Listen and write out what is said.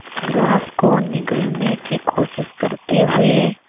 grass को निगलने की कोशिश करते हुए